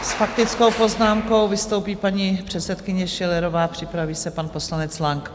S faktickou poznámkou vystoupí paní předsedkyně Schillerová, připraví se pan poslanec Lang.